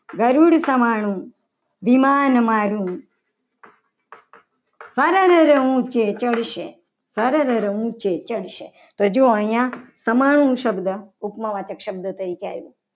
ગરુડ સમાણું વિમાન મારુ સરરર ઉંચે ચઢશે. સરરર ઉંચે ચડશે તો જોવો અહીંયા સમાન શબ્દ ઉપમા વાચક શબ્દ તરીકે આવ્યો.